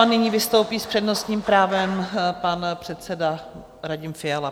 A nyní vystoupí s přednostním právem pan předseda Radim Fiala.